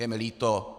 Je mi líto.